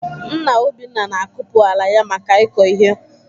Nna Obinna na-akupu ala ya maka ịkọ ihe.